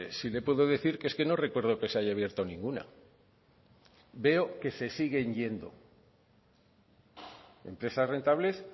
sí le puedo decir que es que no recuerdo que se haya abierto ninguna veo que se siguen yendo empresas rentables